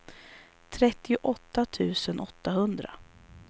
trettioåtta tusen åttahundra